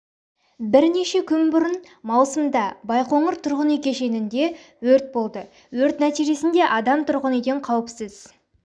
бірнеше күн бұрын маусымда байқоңыр тұрғын үй кешенінде өрт болды өрт нәтижесінде адам тұрғын үйден қауіпсіз